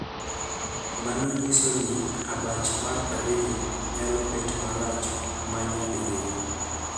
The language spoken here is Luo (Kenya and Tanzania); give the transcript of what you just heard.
Mano nyiso ni abach mar ariyo nyalo bet marach ma nyadiriyo.